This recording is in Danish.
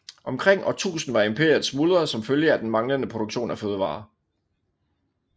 Omkring år 1000 var imperiet smuldret som følge af den manglende produktion af fødevarer